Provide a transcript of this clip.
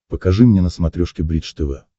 покажи мне на смотрешке бридж тв